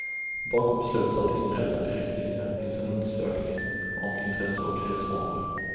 Bakom beslutet att inrätta en direktlinje finns en undersökning om intresse och resvanor.